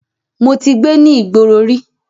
Mo ti gbé ní ìgboro rí.